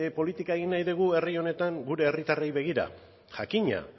politika egin nahi dugu herri honetan gure herritarrei begira jakina